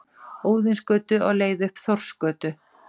Óðinsgötu, á leið upp Þórsgötu.